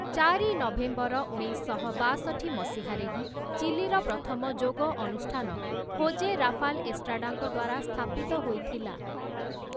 ଚାରି ନଭେମ୍ବର ଉଣେଇଶଶହ ବାଷଠୀ ମସିହା ରେ ହିଁ, ଚିଲିର ପ୍ରଥମ ଯୋଗ ଅନୁଷ୍ଠାନ ହୋଜେ ରାଫାଲ୍ ଏଷ୍ଟ୍ରାଡାଙ୍କ ଦ୍ୱାରା ସ୍ଥାପିତ ହୋଇଥିଲା ।